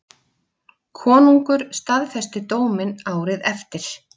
Konungur staðfesti dóminn árið eftir.